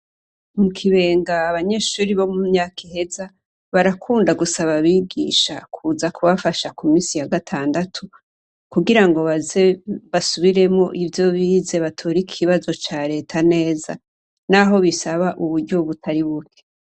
Mu kibenga abanyeshuri bo mu myaka iheza barakunda gusaba abigisha kuza kubafasha ku misi ya gatandatu kugira ngo babasubiremo ivyo bize batorika ikibazo ca leta neza, naho bisaba uburyobutari buke.